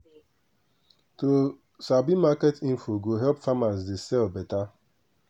to sabi market info go help farmers dey sell beta